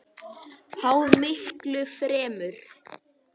Háð miklu fremur.